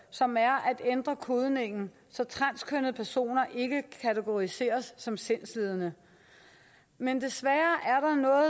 som er at ændre kodningen så transkønnede personer ikke kategoriseres som sindslidende men desværre